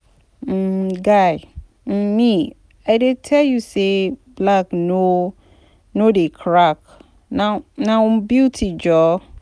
um Guy, um me, I dey tell you say black no no dey crack na na beauty jhor